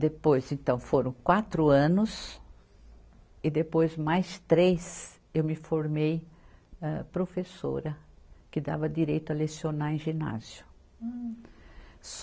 Depois, então, foram quatro anos e depois mais três eu me formei âh professora, que dava direito a lecionar em ginásio. Hum